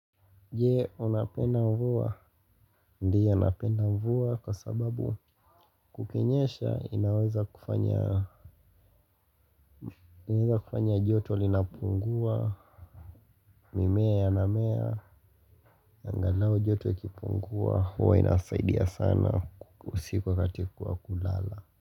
Je, unapenda mvua. Ndiyo napenda mvua kwa sababu kukinyesha inaweza kufanya. Inaweza kufanya joto linapungua. Mimea yanamea. Angalau joto likipungua huwa inasaidia sana usiku wakati wa kulala.